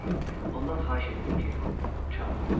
Ondan xahiş etdim ki, çalmasın.